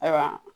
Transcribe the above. Ayiwa